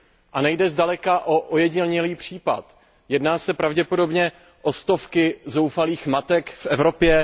A nejde zdaleka o ojedinělý případ, jedná se pravděpodobně o stovky zoufalých matek v Evropě.